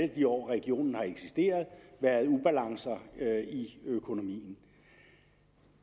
de år regionen har eksisteret været ubalance i økonomien